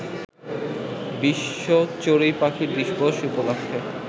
বিশ্ব চড়ুই পাখি দিবস উপলক্ষে